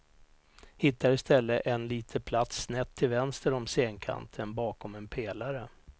Hittar i stället en lite plats snett till vänster om scenkanten, bakom en pelare.